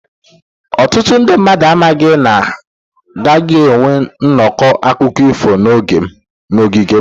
Ọtụtụ ndị mmadụ amaghị na a gaghị enwe nnọkọ akụkọ ifo n'ogige m.